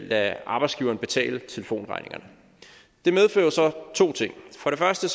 lade arbejdsgiveren betale telefonregningerne det medfører jo så to ting for det første